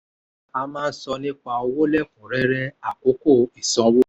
a máa ń sọ nípa owó lẹ́kùn-rẹ́rẹ́ àkókò ìsanwó.